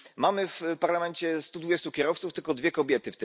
Mamy w Parlamencie stu dwudziestu kierowców w tym tylko dwie kobiety.